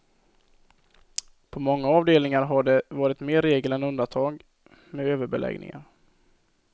På många avdelningar har det varit mer regel än undantag med överbeläggningar.